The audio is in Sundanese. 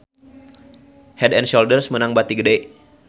Head & Shoulder meunang bati gede